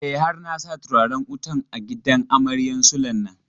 E, har na sa turaren wutan a gidan amaryan Sule nan.